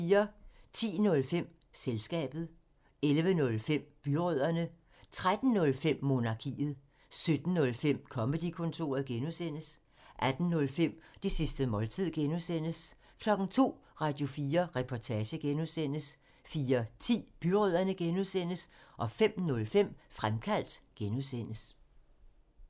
10:05: Selskabet 11:05: Byrødderne 13:05: Monarkiet 17:05: Comedy-kontoret (G) 18:05: Det sidste måltid (G) 02:00: Radio4 Reportage (G) 04:10: Byrødderne (G) 05:05: Fremkaldt (G)